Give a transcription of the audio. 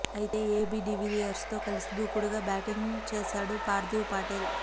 అయితే ఏబీ డివిల్లియర్స్తో కలిసి దూకుడుగా బ్యాటింగ్ చేశాడు పార్థివ్ పటేల్